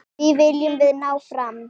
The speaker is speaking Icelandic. Því viljum við ná fram.